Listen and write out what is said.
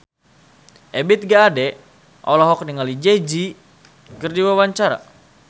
Ebith G. Ade olohok ningali Jay Z keur diwawancara